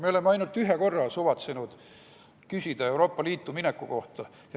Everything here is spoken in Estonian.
Me oleme ainult ühe korra suvatsenud küsida, Euroopa Liitu mineku kohta.